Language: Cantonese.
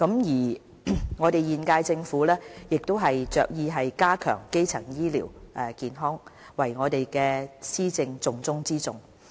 現屆政府着意加強基層醫療健康作為我們施政的重中之重。